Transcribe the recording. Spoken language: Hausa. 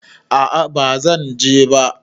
A'a bazan je ba